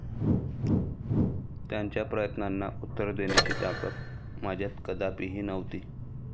त्यांच्या प्रश्नांना उत्तर देण्याची ताकद माझ्यात कदापिही नव्हती.